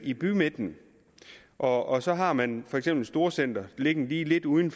i bymidten og så har man for eksempel et storcenter liggende lige lidt uden